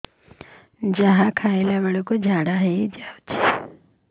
ଯାହା ଖାଇଲା ବେଳକୁ ଝାଡ଼ା ହୋଇ ଯାଉଛି